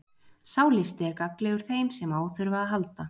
Sá listi er gagnlegur þeim sem á þurfa að halda.